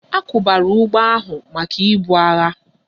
A kwubara ụgbọ ahu maka ibu agha